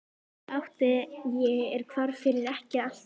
Bróður átti ég er hvarf fyrir ekki allt löngu.